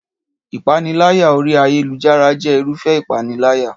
Ìpániláyà orí ayélujára jẹ́ Irúfẹ́ ìpániláyà